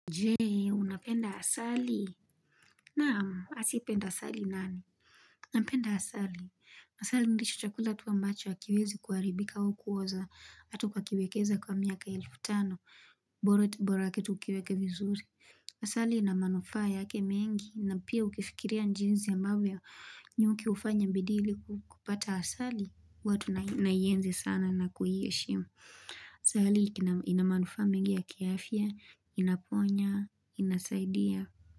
Je, unapenda asali? Naam, asipenda asali na, napenda asali. Asali ndicho chakula tu ambacho, hakiwezi kuharibika au kuoza, hata ukakiwekeza kwa miaka elfu tano. Bora tu borake tu ukiweke vizuri. Asali ina manufaa yake mengi. Na pia ukifikiria jinsi ambavyo, nyuki hufanya bidii ili kupata asali, huwa tunaienzi sana na kuiheshimu. Asali ina manufaa mengi ya kiafya. Inaponya, inasaidia.